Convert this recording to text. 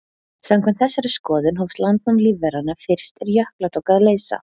Samkvæmt þessari skoðun hófst landnám lífveranna fyrst er jökla tók að leysa.